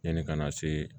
Yanni ka na se